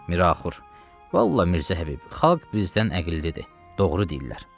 Miraxur: “Vallahi, Mirzə Həbib, xalq bizdən əqillidir, doğru deyirlər.